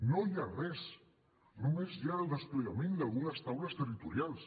no hi ha res només hi ha el desplegament d’algunes taules territorials